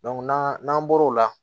n'an n'an bɔr'o la